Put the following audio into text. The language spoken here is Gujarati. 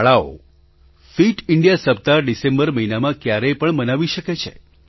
શાળાઓ ફિટ ઇન્ડિયા સપ્તાહ ડિસેમ્બર મહિનામાં ક્યારેય પણ મનાવી શકે છે